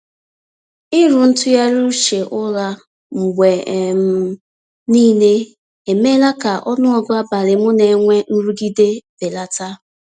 Ịrụ ntụgharị uche ụra mgbe um niile emeela ka ọnụọgụ abalị m na-enwe nrụgide belata.